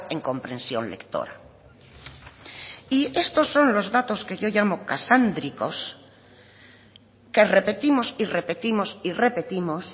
en comprensión lectora y estos son los datos que yo llamo casándricos que repetimos y repetimos y repetimos